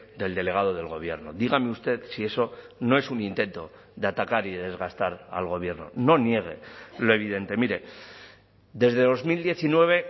del delegado del gobierno dígame usted si eso no es un intento de atacar y desgastar al gobierno no niegue lo evidente mire desde dos mil diecinueve